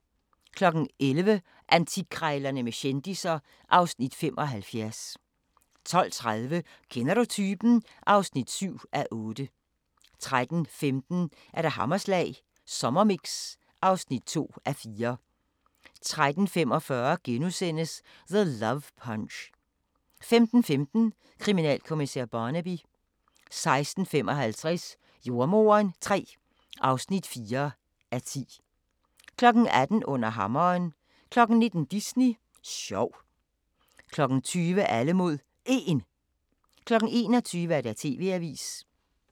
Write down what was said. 11:00: Antikkrejlerne med kendisser (Afs. 75) 12:30: Kender du typen? (7:8) 13:15: Hammerslag Sommermix (2:4) 13:45: The Love Punch * 15:15: Kriminalkommissær Barnaby 16:55: Jordemoderen III (4:10) 18:00: Under hammeren 19:00: Disney sjov 20:00: Alle mod 1 21:00: TV-avisen